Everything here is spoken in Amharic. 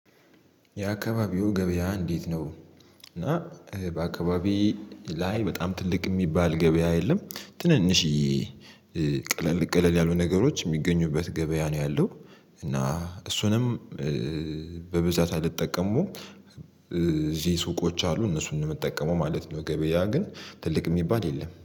የአካባቢው ገበያ እንዴት ነው? እና በአካባቢው ላይ በጣም ትልቅ የሚባል ገበያ የለም። ትንንሽየ ቀለል ቀለል ያሉ ነገሮች የሚገኙበት ገበያ ነው ያለው። እና እሱንም በብዛት አልጠቀመውም እዚህ ሱቆች አሉ እነሱንም የምጠቀመው ማለት ነው። ገበያ ግን ትልቅ የሚባል የለም